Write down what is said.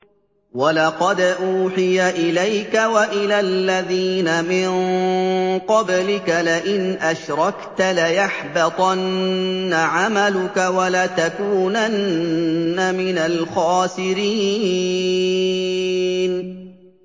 وَلَقَدْ أُوحِيَ إِلَيْكَ وَإِلَى الَّذِينَ مِن قَبْلِكَ لَئِنْ أَشْرَكْتَ لَيَحْبَطَنَّ عَمَلُكَ وَلَتَكُونَنَّ مِنَ الْخَاسِرِينَ